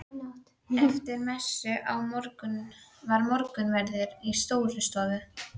Eftir messu var morgunverður í Stórustofu.